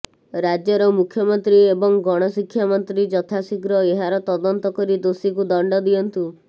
ରାଜ୍ୟର ମୁଖ୍ୟମନ୍ତ୍ରୀ ଏବଂ ଗଣଶିକ୍ଷା ମନ୍ତ୍ରୀ ଯଥାଶିଘ୍ର ଏହାର ତଦନ୍ତ କରି ଦୋଷୀକୁ ଦଣ୍ଡ ଦିଅନ୍ତୁ